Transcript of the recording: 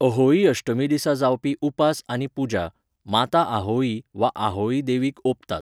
अहोई अष्टमी दिसा जावपी उपास आनी पुजा, माता आहोई वा आहोई देवीक ओंपतात.